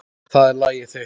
Það er lagið þitt.